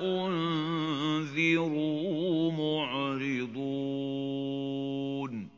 أُنذِرُوا مُعْرِضُونَ